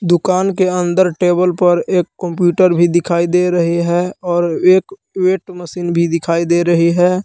दुकान के अंदर टेबल पर एक कम्प्यूटर भी दिखाई दे रहे है और एक वेट मशीन भी दिखाई दे रही है।